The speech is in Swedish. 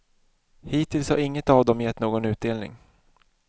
Hittills har inget av dem gett någon utdelning.